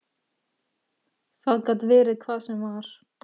Það gat verið hvað sem var.